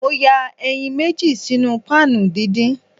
Mo ya eyin meji sinu pan didin.